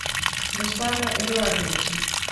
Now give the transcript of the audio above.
руслана эдуардовича